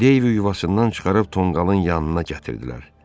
Deyvi yuvasından çıxarıb tonqalın yanına gətirdilər.